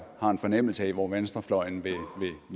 har en fornemmelse af hvor venstrefløjen vil